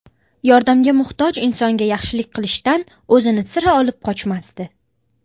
Yordamga muhtoj insonga yaxshilik qilishdan o‘zini sira olib qochmasdi.